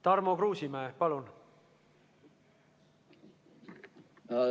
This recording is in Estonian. Tarmo Kruusimäe, palun!